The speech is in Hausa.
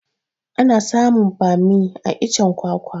Ana samun bammi a iccen kwakwa